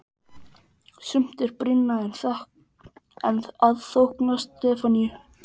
Sumt er brýnna en að þóknast Stefaníu.